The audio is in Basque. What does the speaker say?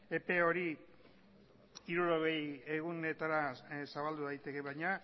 epe hori hirurogei egunetara zabaldu daiteke baina